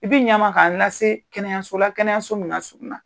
I bɛ ɲa n ma ka n lase kɛnɛyaso la kɛnɛyaso min ka surun na.